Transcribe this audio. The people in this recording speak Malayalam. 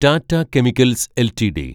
Tata chemicals LTD